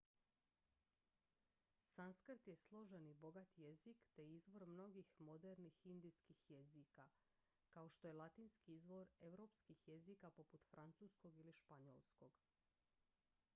sanskrt je složen i bogat jezik te izvor mnogih modernih indijskih jezika kao što je latinski izvor europskih jezika poput francuskog ili španjolskog